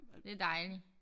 Det dejlig